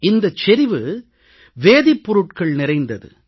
இந்தச் செறிவு வேதிப் பொருட்கள் நிறைந்தது